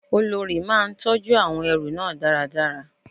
Olórí máa ń tọjú àwọn ẹrú náà dáradára.